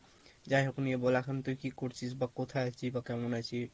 যাই হোক নিয়ে বল এখন তুই কি করছিস বা কোথায় আছিস বা কেমন আছিস?